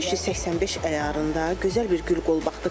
585 əyarında gözəl bir gül qolbağdır.